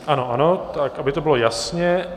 Ano, ano, tak aby to bylo jasně.